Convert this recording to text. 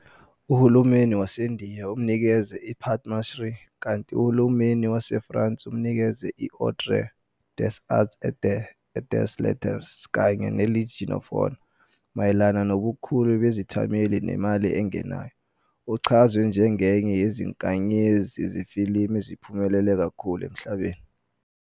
Uhulumeni waseNdiya umnikeze iPadma Shri, kanti uHulumeni waseFrance umnikeze i-Ordre des Arts et des Lettres kanye neLegion of Honor. Mayelana nobukhulu bezithameli nemali engenayo, uchazwe njengenye yezinkanyezi zefilimu eziphumelela kakhulu emhlabeni.